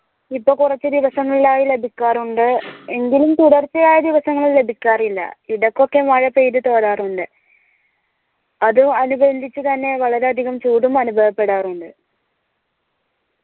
ഇപ്പൊ കൊറച്ചു ദിവസങ്ങളിൽ ആയി ലഭിക്കാറുണ്ട് എങ്കിലും തുടർച്ചയായ ദിവസങ്ങളിൽ ലഭിക്കാറില്ല ഇടക്കൊക്കെ മഴ പെയ്ത് ചോറാറുണ്ട് അത് അനുബന്ധിച്ച് തന്നെ വളരെ അധികം ചൂടും അനുഭവപ്പെടാറുണ്ട്